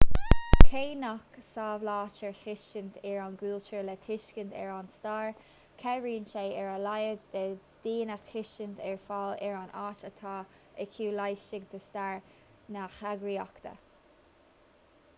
cé nach samhlaítear tuiscint ar an gcultúr le tuiscint ar an stair cabhraíonn sé ar a laghad le daoine tuiscint a fháil ar an áit atá acu laistigh de stair na heagraíochta